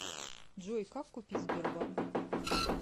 джой как купить сбербанк